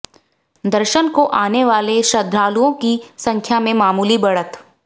दर्शन को आने वाले श्रद्धलाओं की संख्या में मामूली बढ़त